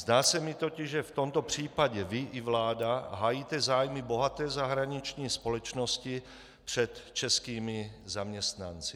Zdá se mi totiž, že v tomto případě vy i vláda hájíte zájmy bohaté zahraniční společnosti před českými zaměstnanci.